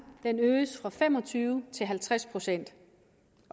fra fem og tyve til halvtreds procent